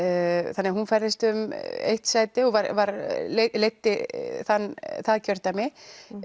þannig að hún færðist um eitt sæti og leiddi það kjördæmi